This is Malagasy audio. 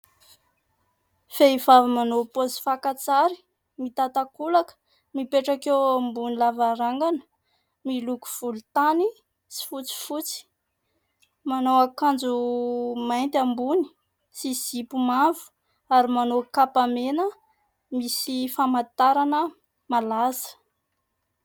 Vehivavy manao paozy fakan-tsary, mitan-takolaka, mipetraka ambony lavarangana miloko volontany sy fotsifotsy ; manao akanjo mainty ambony sy zipo mavo ary manao kapa mena misy famantarana malaza.